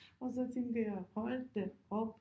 Og så tænker jeg hold da op